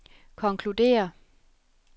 konkluderer